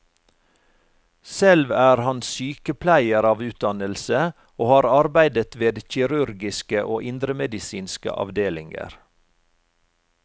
Selv er han sykepleier av utdannelse og har arbeidet ved kirurgiske og indremedisinske avdelinger.